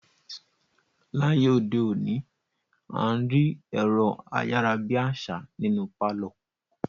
Láyé òde òní, à ń rí ẹ̀rọ-ayára-bí-àṣá nínú pálọ̀.